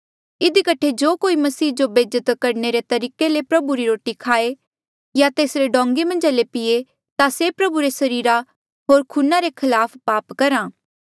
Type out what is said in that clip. इधी कठे जो कोई मसीह जो बेज्जत करणे ले तरीके ले प्रभु री रोटी खाए या तेसरे डोंगें मन्झा ले पीए ता से प्रभु रे सरीर होर खूना रे खलाफ पाप करहा